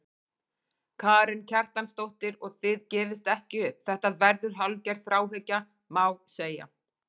Karen Kjartansdóttir: Og þið gefist ekki upp, þetta verður hálfgerð þráhyggja, má segja?